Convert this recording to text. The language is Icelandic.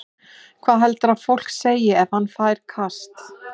Hvað heldurðu að fólk segi ef hann fær kast?